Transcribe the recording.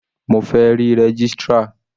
Mo fẹ́ rí registrar.